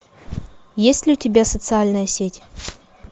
есть ли у тебя социальная сеть